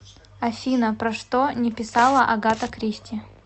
афина про что не писала агата кристи